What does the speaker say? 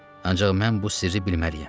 Ancaq mən bu sirri bilməliyəm.